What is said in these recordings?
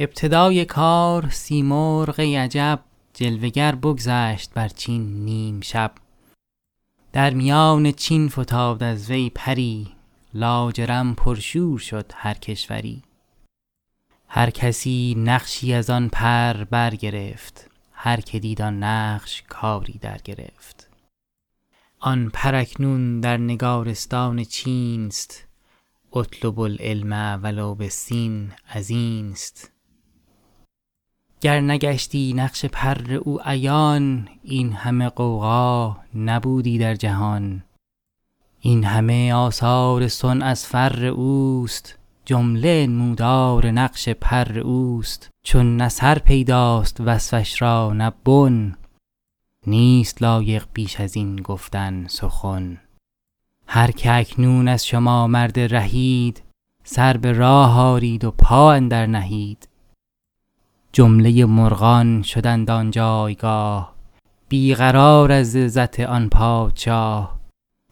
ابتدای کار سیمرغ ای عجب جلوه گر بگذشت بر چین نیم شب در میان چین فتاد از وی پری لاجرم پرشور شد هر کشوری هر کسی نقشی از آن پر برگرفت هر که دید آن نقش کاری درگرفت آن پر اکنون در نگارستان چین ست اطلبو العلم و لو بالصین ازین ست گر نگشتی نقش پر او عیان این همه غوغا نبودی در جهان این همه آثار صنع از فر اوست جمله انمودار نقش پر اوست چون نه سر پیداست وصفش را نه بن نیست لایق بیش از این گفتن سخن هر که اکنون از شما مرد رهید سر به راه آرید و پا اندر نهید جمله مرغان شدند آن جایگاه بی قرار از عزت آن پادشاه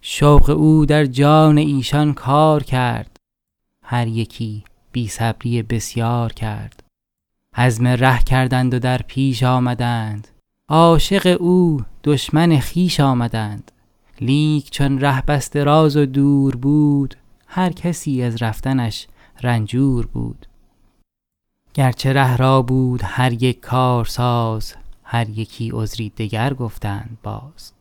شوق او در جان ایشان کار کرد هر یکی بی صبری بسیار کرد عزم ره کردند و در پیش آمدند عاشق او دشمن خویش آمدند لیک چون ره بس دراز و دور بود هر کسی از رفتنش رنجور بود گر چه ره را بود هر یک کارساز هر یکی عذری دگر گفتند باز